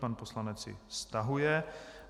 Pan poslanec ji stahuje.